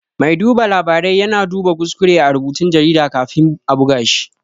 Mai duba labarai ya na duba kuskure a rubutun jarida kafin a buga shi